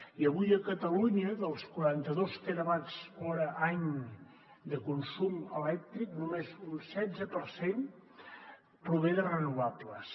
i avui a catalunya dels quaranta dos terawatts hora any de consum elèctric només un setze per cent prové de renovables